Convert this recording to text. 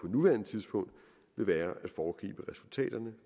nuværende tidspunkt vil være